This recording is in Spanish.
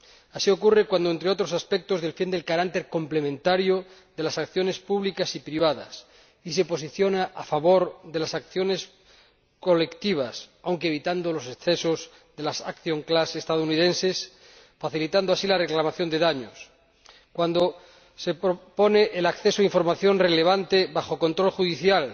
Así ocurre cuando, entre otros aspectos, defiende el carácter complementario de las acciones públicas y privadas, y se posiciona a favor de las acciones colectivas, aunque evitando los excesos de las class actions estadounidenses, facilitando así la reclamación de daños cuando se propone el acceso a información relevante bajo control judicial,